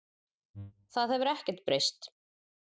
Það hefur ekkert breyst